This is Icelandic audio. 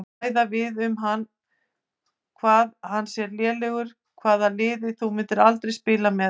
Ræða við um hann hvað hann sé lélegur Hvaða liði myndir þú aldrei spila með?